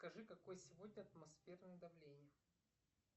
скажи какое сегодня атмосферное давление